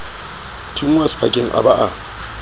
thunngwa sephakeng a ba a